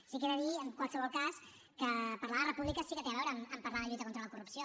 sí que he de dir en qualsevol cas que parlar de república sí que té a veure amb parlar de lluita contra la corrupció